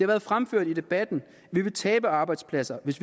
været fremført i debatten at vi vil tabe arbejdspladser hvis